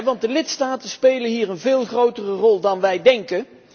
Want de lidstaten spelen hier een veel grotere rol dan wij denken.